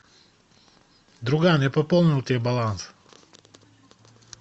друган я пополнил тебе баланс